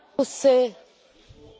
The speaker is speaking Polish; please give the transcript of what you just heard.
Panie Przewodniczący!